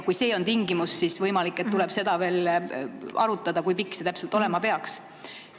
Kui see on tingimus, siis on võimalik, et tuleb veel arutada, kui pikk see täpselt olema peaks.